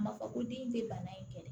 A ma fɔ ko den te bana in kɛlɛ